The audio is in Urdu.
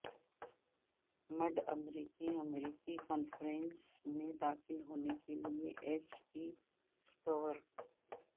مڈ امریکی امریکی کانفرنس میں داخل ہونے کے لئے ایس ٹی سکور